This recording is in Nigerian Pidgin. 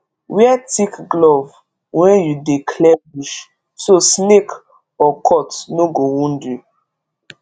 wear thick glove when you dey clear bush so snake or cut no go wound you